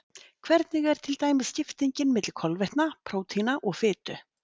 Hvernig er til dæmis skiptingin milli kolvetna, prótína og fitu?